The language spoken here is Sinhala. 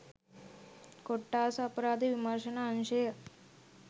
කොට්ඨාස අපරාධ විමර්ශන අංශය